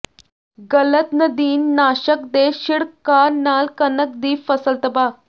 ਗਲਤ ਨਦੀਨ ਨਾਸ਼ਕ ਦੇ ਛਿੜਕਾਅ ਨਾਲ ਕਣਕ ਦੀ ਫ਼ਸਲ ਤਬਾਹ